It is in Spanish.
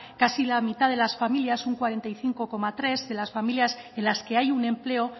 casi la mitad de las familias un cuarenta y cinco coma tres de las familias en las que hay un empleo